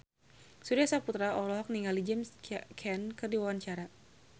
Surya Saputra olohok ningali James Caan keur diwawancara